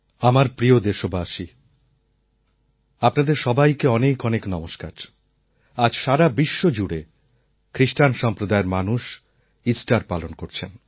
আমার প্রিয় দেশবাসী আপনাদের সবাইকে অনেক অনেক নমস্কার আজ সারা বিশ্ব জুড়ে খ্রিস্টান সম্প্রদায়ের মানুষ ইস্টার পালন করছেন